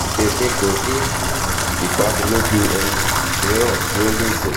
emi ko ni um idaniloju ohun miiran ti o le jẹ